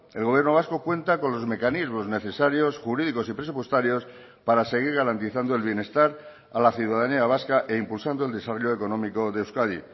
el gobierno vasco cuenta con los mecanismos necesarios jurídicos y presupuestarios para seguir garantizando el bienestar a la ciudadanía vasca e impulsando el desarrollo económico de euskadi